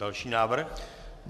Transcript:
Další návrh?